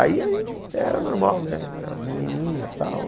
Aí aí era normal, né, as menininhas e tal.